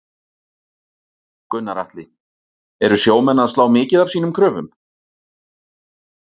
Gunnar Atli: Eru sjómenn að slá mikið af sínum kröfum?